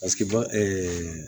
Paseke ba